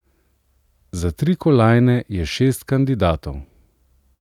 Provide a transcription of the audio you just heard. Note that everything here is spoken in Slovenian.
Za tri kolajne je šest kandidatov.